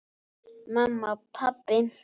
Mamma. pabbi.